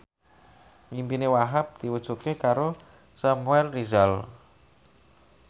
impine Wahhab diwujudke karo Samuel Rizal